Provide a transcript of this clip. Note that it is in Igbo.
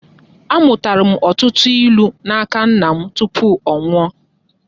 Amụtara m ọtụtụ ilu n'aka nna m tupu ọ nwụọ